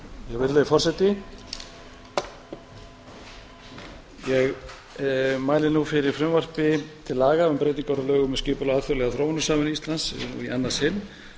mæli fyrir frumvarpi til laga um breytingu á lögum um um skipulag alþjóðlegrar þróunarsamvinnu íslands í annað sinn